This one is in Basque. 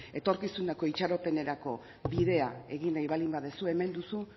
etorkizuneko itxaropenerako bidea egin nahi baldin baduzu hemen duzu